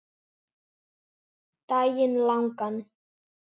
Daginn langan.